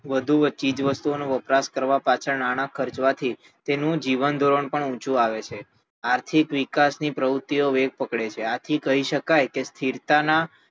વધુ ચીજવસ્તુઓ નો વપરાશ કરવાં પાછળ નાણાં ખરચવા થી તેનું જીવનધોરણ પણ ઉંચુ આવે છે આથી આર્થિક વિકાસ ની પ્રવુત્તિઓ વેગ પકડે છે આથી કહી શકાય કે સ્થિરતાનાં